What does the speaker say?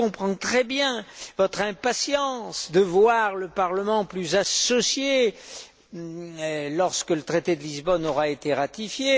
Je comprends très bien votre impatience de voir le Parlement plus associé lorsque le traité de Lisbonne aura été ratifié.